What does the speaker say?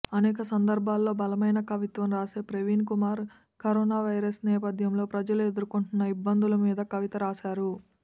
అనేక సందర్భాల్లో బలమైన కవిత్వం రాసే ప్రవీణ్ కుమార్ కరోనావైరస్ నేపథ్యంలో ప్రజలు ఎదుర్కొంటున్న ఇబ్బందుల మీద కవిత రాశారు